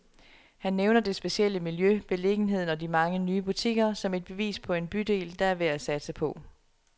Han nævner det specielle miljø, beliggenheden og de mange nye butikker, som et bevis på en bydel, der er værd at satse på.